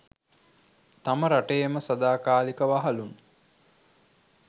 තම රටේම සදාකාලික වහලුන්